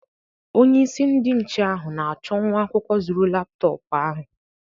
Onye isi ndi nche ahụ na-achọ nwa akwụkwọ zuru laptọpụ ahụ.